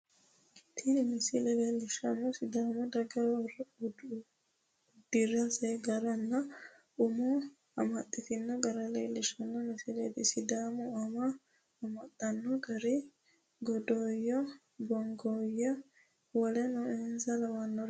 Tini misile leelishanohu sidaamu daga udirase garanna umo amaxase gara leelishano misileeti. sidaamunnihu amo amaxate garino goodayo, bonkooyenna woleno insa lawanoreeti.